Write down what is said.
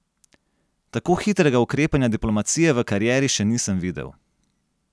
Tako hitrega ukrepanja diplomacije v karieri še nisem videl.